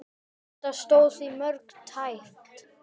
Þetta stóð því mjög tæpt.